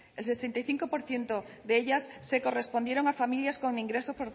el sesenta y cinco por ciento de ellas se correspondieron a familias con ingresos